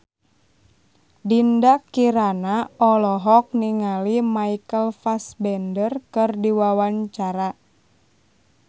Dinda Kirana olohok ningali Michael Fassbender keur diwawancara